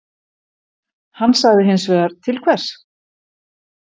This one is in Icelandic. Hann sagði hinsvegar: Til hvers?